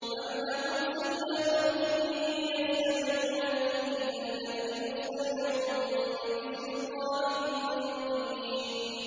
أَمْ لَهُمْ سُلَّمٌ يَسْتَمِعُونَ فِيهِ ۖ فَلْيَأْتِ مُسْتَمِعُهُم بِسُلْطَانٍ مُّبِينٍ